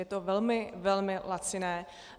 Je to velmi, velmi laciné.